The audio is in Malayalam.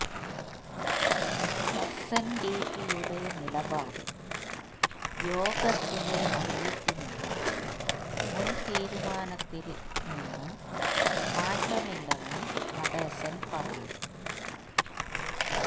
എസ്എന്ഡിപിയുടെ നിലപാട് യോഗത്തില് അറിയിക്കുമെന്നും മുന് തീരുമാനത്തില് നിന്ന് മാറ്റമില്ലെന്നും നടേശന് പറഞ്ഞു